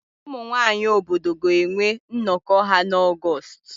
Ụmụ nwaanyị obodo ga-enwe nnọkọ ha n'Ọgọọst.